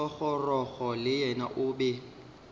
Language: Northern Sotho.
thogorogo le yena o be